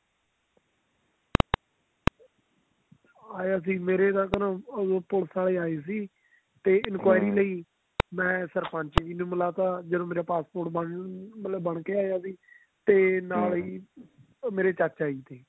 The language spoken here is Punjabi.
ਆਇਆ ਸੀ ਮੇਰੇ ਘਰ ਪੁਲਸ ਆਲੇ ਆਏ ਸੀ ਤੇ enquiry ਲਈ ਮੈਂ ਸਰਪੰਚ ਜੀ ਨੂੰ ਮਿਲਾਤਾ ਜਦੋਂ ਮੇਰਾ passport ਬਣ ਮਤਲਬ ਬਣ ਕੇ ਆਇਆ ਸੀ ਤੇ ਮੇਰੇ ਚਾਚਾ ਜੀ ਤੇ